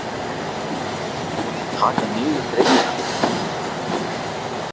Taka niður greinina?